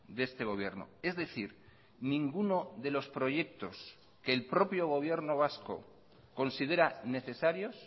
de este gobierno es decir ninguno de los proyectos que el propio gobierno vasco considera necesarios